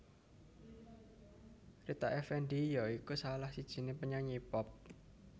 Rita Effendy ya iku salah sijiné penyanyi pop